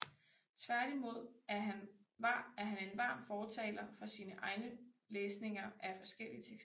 Tværtimod er han en varm fortaler for sine egne læsninger af forskellige tekster